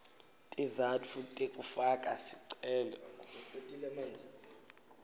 tizatfu tekufaka sicelo